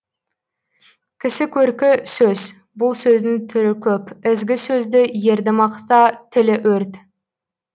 кісі көркі сөз бұл сөздің түрі көп ізгі сөзді ерді мақта тілі өрт